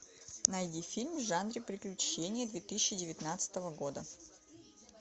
найди фильм в жанре приключения две тысячи девятнадцатого года